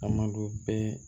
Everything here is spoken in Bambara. A ma don bɛɛ